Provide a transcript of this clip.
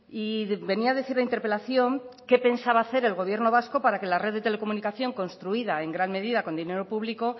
y venía a decir la interpelación qué pensaba hacer el gobierno vasco para que la red de telecomunicación construida en gran medida con dinero público